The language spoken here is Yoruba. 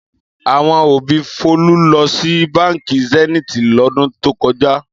Àwo òbí Folú lọ sí Báńkì Zenith lọ́dún tó kọjá.